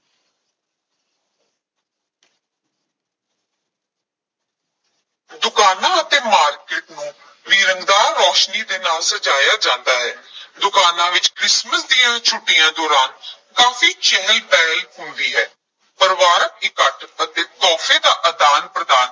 ਦੁਕਾਨਾਂ ਅਤੇ market ਨੂੰ ਵੀ ਰੰਗਦਾਰ ਰੌਸ਼ਨੀ ਦੇ ਨਾਲ ਸਜਾਇਆ ਜਾਂਦਾ ਹੈ ਦੁਕਾਨਾਂ ਵਿੱਚ ਕ੍ਰਿਸਮਸ ਦੀਆਂ ਛੁੱਟੀਆਂ ਦੌਰਾਨ ਕਾਫੀ ਚਹਿਲ ਪਹਿਲ ਹੁੰਦੀ ਹੈ, ਪਰਿਵਾਰਕ ਇਕੱਠ ਅਤੇ ਤੋਹਫ਼ੇ ਦਾ ਆਦਾਨ-ਪ੍ਰਦਾਨ